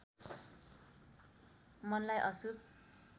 मनलाई अशुभ